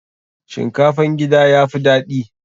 Shinkafan gida ya fi daɗi.